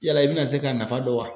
Yala i bɛna se k'a nafa dɔn wa?